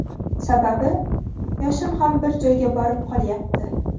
Sababi yoshim ham bir joyga borib qolyapti.